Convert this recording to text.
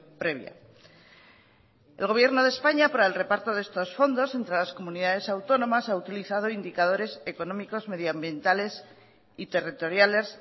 previa el gobierno de españa para el reparto de estos fondos entre las comunidades autónomas ha utilizado indicadores económicos medioambientales y territoriales